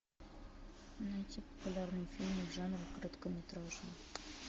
найти популярные фильмы в жанре короткометражный